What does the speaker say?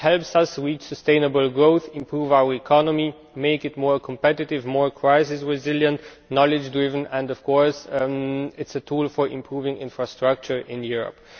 It helps us reach sustainable growth, improve our economy and make it more competitive, more crisis resilient, knowledge driven, and of course it is a tool for improving infrastructure in Europe.